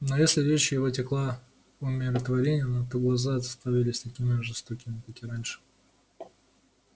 но если речь его текла умиротворённо то глаза оставались такими же жестокими как и раньше